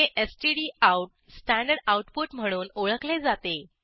हे stdout standard output म्हणून ओळखले जाते